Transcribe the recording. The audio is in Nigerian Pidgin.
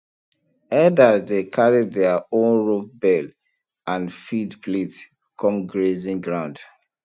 herders dey carry their own rope bell and feed plate come grazing ground